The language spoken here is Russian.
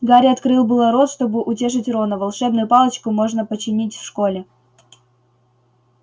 гарри открыл было рот чтобы утешить рона волшебную палочку можно починить в школе